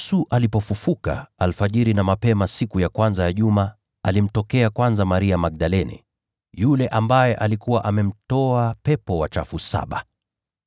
Yesu alipofufuka alfajiri na mapema siku ya kwanza ya juma alimtokea kwanza Maria Magdalene, yule ambaye alikuwa amemtoa pepo wachafu saba.